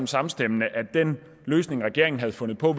samstemmende at den løsning regeringen havde fundet på